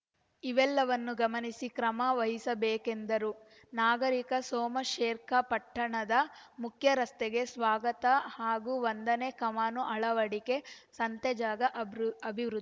ಇದೆಲ್ಲವನ್ನೂ ಗಮನಿಸಿ ಕ್ರಮ ವಹಿಸಬೇಕೆಂದರು ನಾಗರಿಕ ಸೋಮಶೇರ್ಖ ಪಟ್ಟಣದ ಮುಖ್ಯರಸ್ತೆಗೆ ಸ್ವಾಗತ ಹಾಗೂ ವಂದನೆ ಕಾಮಾನು ಅಳವಡಿಕೆ ಸಂತೆಜಾಗ ಅಭೃ ಅಭಿವೃ